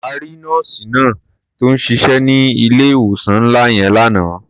A rí nọ́ọ̀sì náà tó ń ṣiṣẹ́ ní ilé-ìwòsàn ńlá yẹn lánàá.